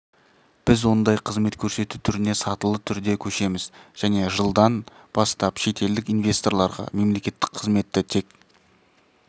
біз ондай қызмет көрсету түріне сатылы түрде көшеміз және жылдан бастап шетелдік инвесторларға мемлекеттік қызметті тек